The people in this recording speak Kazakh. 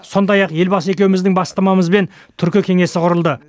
сондай ақ елбасы екеуіміздің бастамамызбен түркі кеңесі құрылды